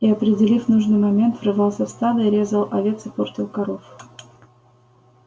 и определив нужный момент врывался в стадо и резал овец и портил коров